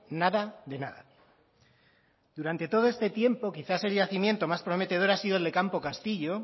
nada de nada durante todo este tiempo quizás el yacimiento más prometedor ha sido el de campo castillo